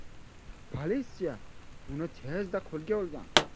Politsiya uni tezda qo‘lga olgan.